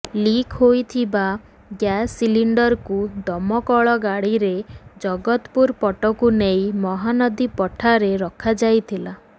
leak ହୋଇଥିବା gas ସିଲିଣ୍ଡରକୁ ଦମକଳ ଗାଡ଼ିରେ ଜଗତପୁର ପଟକୁ ନେଇ ମହାନଦୀ ପଠାରେ ରଖା ଯାଇଥିଲା